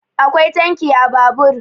akwai tanki a Babur